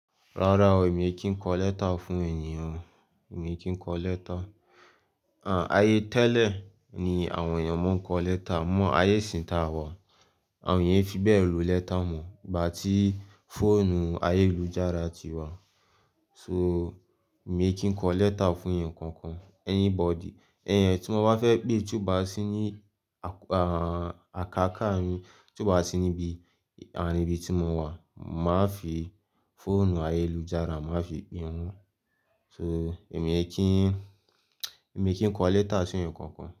Rárá o, èmi kì í kọ lẹ́tà fún ènìyàn, èmi kò kọ lẹ́tà. À, ayé tẹ́lẹ̀ ni àwọn èèyàn máa ń kọ lẹ́tà, mọ́ ayé ìsìn ta a wà, àwọn èèyàn fi bẹ́ẹ̀ lo lẹ́tà mọ̀, bà tí fóònù ayélujára ti wà. So èmi kì í kọ lẹ́tà fún ẹnìkankan, anybody. Ẹnìyàn tí wọ́n bá fẹ́ pé tún bá sí ní àkà-káà mi, tún bá sí níbi, àní ibi tí mo wà, màá fi fóònù ayélujára, màá fi pe ń. So èmi kì í, èmi kì í kọ lẹ́tà fún ẹnìkankan.